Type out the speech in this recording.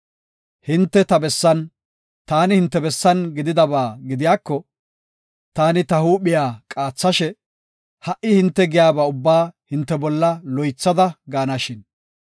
Hinte ta bessan, taani hinte bessan gididaba gidiyako, taani ta huuphiya qaathashe, ha77i hinte giyaba ubbaa hinte bolla loythada gaanashin!